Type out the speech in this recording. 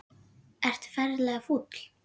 Ertu ferlega fúll?